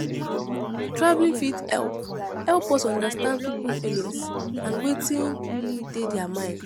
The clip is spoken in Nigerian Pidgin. Traveling fit help help us understand pipo feelings and wetin really dey their mind